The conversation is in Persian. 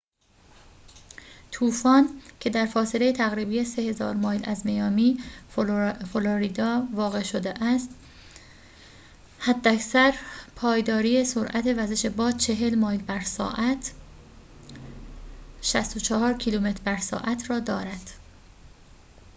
طوفان، که در فاصله تقریبی 3000 مایل از میامی، فلوریدا واقع شده است، حداکثر پایداری سرعت وزش باد 40 مایل بر ساعت 64 کیلومتر بر ساعت را دارد